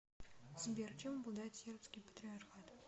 сбер чем обладает сербский патриархат